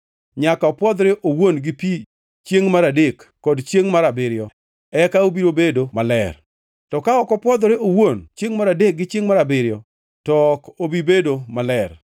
Nyaka opwodhre owuon gi pi chiengʼ mar adek kod chiengʼ mar abiriyo; eka obiro bedo maler. To ka ok opwodhore owuon chiengʼ mar adek gi chiengʼ mar abiriyo, to ok obi bedo maler.